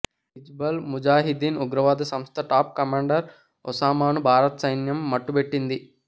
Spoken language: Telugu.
హిజ్బుల్ ముజాహిదీన్ ఉగ్రవాద సంస్థ టాప్ కమాండర్ ఒసామాను భారత సైన్యం మట్టుబెట్టింది